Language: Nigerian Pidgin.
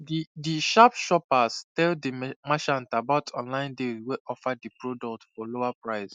di di sharp shopper tell di merchant about online deals wey offer di product for lower price